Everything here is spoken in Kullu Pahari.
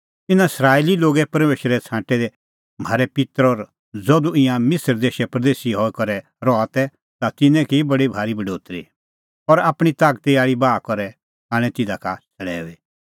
इना इस्राएली लोगे परमेशरै छ़ांटै म्हारै पित्तर और ज़धू ईंयां मिसर देशै परदेसी हई करै रहा तै ता तिन्नें की बडी भारी बढोतरी और आपणीं तागती आल़ी बाहा करै आणै तिधा का छ़ड़ैऊई